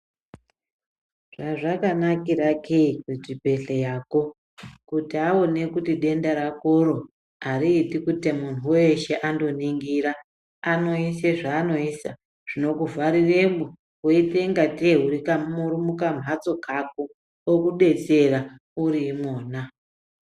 Hazvakanakirake kuti kuchibhedhlerako kuti Aona kuti denda rakoro ariiti kuti muntu weshe andoningura anosisa zvanoisa zvinokuvharuremo zvinoita ngatei murikukambatso kako okudetsera muri mumbatso makona.